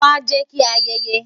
wá, jẹ ki a ayeye